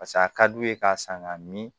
Pase a ka d'u ye k'a san ka min